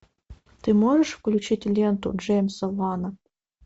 ты можешь включить ленту джеймса вана